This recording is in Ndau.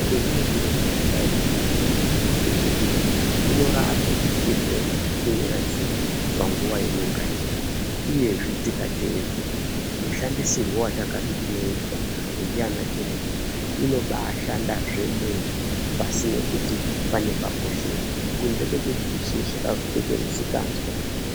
Chendinodira mishonga yechiyungu ngechekuti inorape chirwere chimwe nachimwe panguwa imwe naimwe uyezve tikatedzera mushandisirwo watakazi tinoiya ndiana chiremba inobashanda zvemene pasina kuti pane pashosheka kunze kwekuti isusu tazotoite musikazwa.